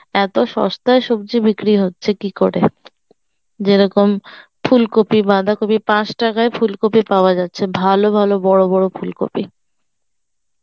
এত সস্তায় সবজি বিক্রি হচ্ছে কি করে যেরকম ফুলকপি বাঁধাকপি পাঁচ টাকায় ফুলকপি পাওয়া যাচ্ছে ভালো ভালো বড় বড় ফুলকপি